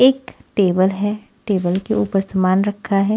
एक टेबल है टेबल के ऊपर सामान रखा है।